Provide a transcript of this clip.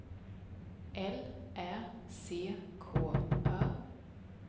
L Ä C K Ö